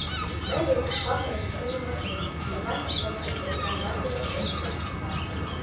мейбелл пришла в неописуемый восторг и едва не чмокнула капитана батлера в щеку